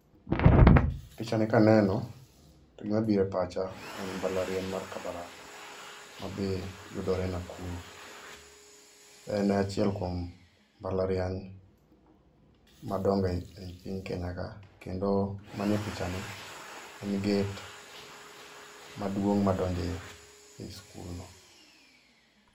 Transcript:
Pichani ka aneno to gima biro e pacha en mbalariany ma Kabarak mayudore Nakuru. Ene achiel kuom mbalariany madongo e Kenya ka kendo manie pichani en [ccs]gate maduong madonjo ei skul no